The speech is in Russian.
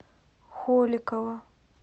холикова